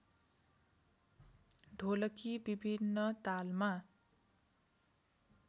ढोलकी विभिन्न तालमा